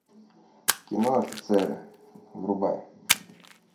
кино офицеры врубай